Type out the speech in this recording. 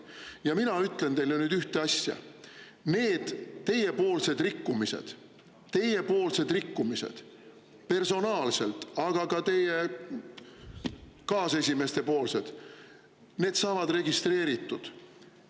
Ja mina ütlen teile nüüd ühte asja: need teiepoolsed rikkumised, teiepoolsed rikkumised personaalselt, aga ka teie kaas poolsed saavad registreeritud.